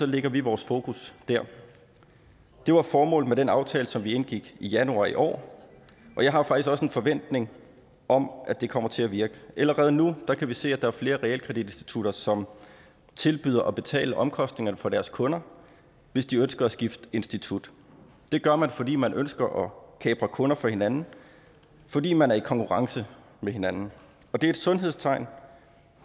lægger vi vores fokus der det var formålet med den aftale som vi indgik i januar i år og jeg har faktisk også en forventning om at det kommer til at virke allerede nu kan vi se at der er flere realkreditinstitutter som tilbyder at betale omkostningerne for deres kunder hvis de ønsker at skifte institut det gør man fordi man ønsker at kapre kunder fra hinanden fordi man er i konkurrence med hinanden det er et sundhedstegn